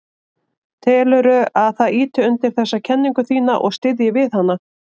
Telurðu að það ýti undir þessa kenningu þína og styðji við hana?